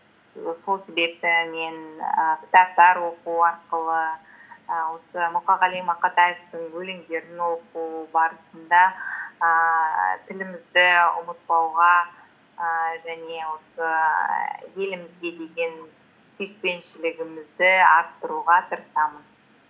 сол себепті мен ііі кітаптар оқу арқылы і осы мұқағали мақатаевтың өлеңдерін оқу барысында ііі тілімізді ұмытпауға ііі және осы елімізге деген сүйіспеншілігімізді арттыруға тырысамын